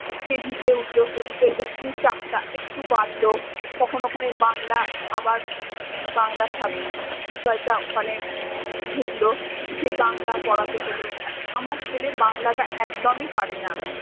KG তে উঠলো KG তে একটু চাপটা একটু বাড়লো। তখন ওখানে বাংলা আবার বাংলা sub বিষয়টা ওখানে ঢুকলো, সেই বাংলা পড়াতে হলো। আমার ছেলে বাংলাটা একদমই পারে না।